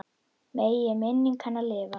Megi minning hennar lifa.